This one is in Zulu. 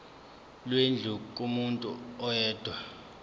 lwendlu kumuntu oyedwa